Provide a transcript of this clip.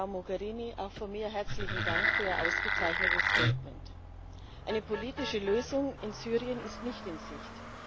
Sehr geehrte Frau Mogherini, auch von mir herzlichen Dank für Ihr ausgezeichnetes Statement! Eine politische Lösung in Syrien ist nicht in Sicht.